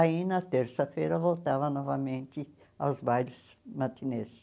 Aí, na terça-feira, voltava novamente aos bailes matinês.